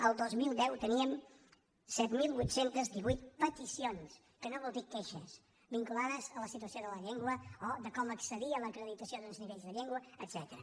el dos mil deu teníem set mil vuit cents i divuit peticions que no vol dir queixes vinculades a la situació de la llengua o de com accedir a l’acreditació d’uns nivells de llengua etcètera